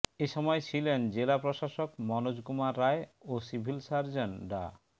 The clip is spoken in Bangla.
এ সময় ছিলেন জেলা প্রশাসক মনোজ কুমার রায় ও সিভিল সার্জন ডা